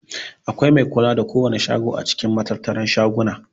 Akwai mai kula da kowana shago a cikin matattara na shaguna.